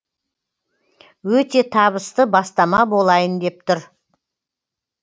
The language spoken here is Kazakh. өте табысты бастама болайын деп тұр